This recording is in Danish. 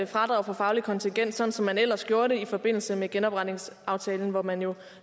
fradraget for fagligt kontingent sådan som man ellers gjorde det i forbindelse med genopretningsaftalen hvor man jo